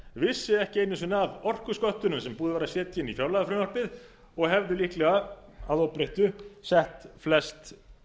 vissi ekki einu sinni af orkusköttunum sem var búið að setja inn í fjárlagafrumvarpið og hefði líklega að óbreyttu sett flest